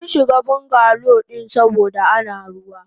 Munshiga bungalow din saboda Ana ruwa.